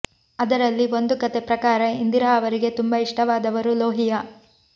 ಅದರಲ್ಲಿ ಒಂದು ಕತೆ ಪ್ರಕಾರ ಇಂದಿರಾ ಅವರಿಗೆ ತುಂಬಾ ಇಷ್ಟವಾದವರು ಲೋಹಿಯಾ